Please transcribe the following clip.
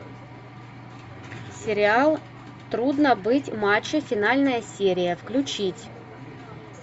сериал трудно быть мачо финальная серия включить